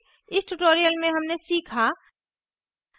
इस tutorial में हमने सीखा